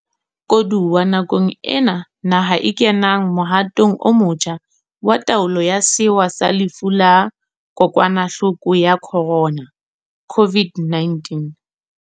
Koduwa nakong ena naha e kenang mohatong o motjha wa taolo ya sewa sa lefu la Kokwanahloko ya Khorona COVID-19.